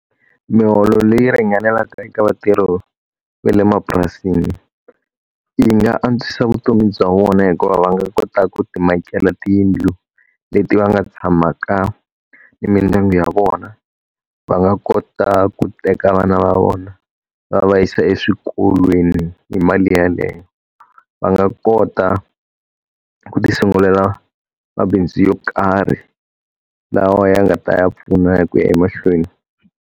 Miholo leyi ringanelaka eka vatirhi va le mapurasini, yi nga antswisa vutomi bya vona hikuva va nga kota ku ti makela tiyindlu leti va nga tshamaka ni mindyangu ya vona. Va nga kota ku teka vana va vona va va yisa eswikolweni hi mali yeleyo. Va nga kota ku ti sungulela mabindzu yo karhi lawa ya nga ta ya pfuna hi ku ya emahlweni.